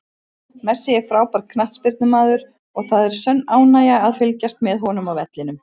Messi er frábær knattspyrnumaður og það er sönn ánægja að fylgjast með honum á vellinum.